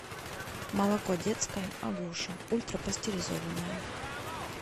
молоко детское агуша ультрапастеризованное